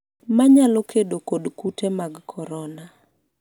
manyalo kedo kod kute mag korona